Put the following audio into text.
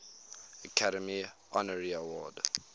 academy honorary award